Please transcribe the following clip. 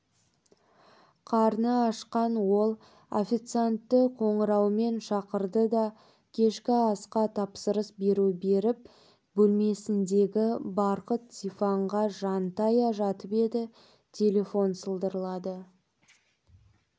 қарны ашқан ол официантты қоңыраумен шақырды да кешкі асқа тапсырыс беру беріп бөлмесіндегі барқыт диванға жантая жатып еді телефон сылдырлады